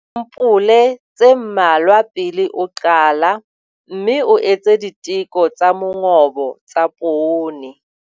Nka disampole tse mmalwa pele o qala, mme o etse diteko tsa mongobo tsa poone.